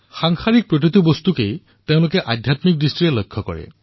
সাংসাৰিক বস্তুসমূহক আধ্যাত্মিকৰ দৃষ্টিৰে পৰিলক্ষিত কৰিব